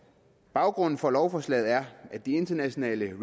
baggrunden for lovforslaget er at de internationale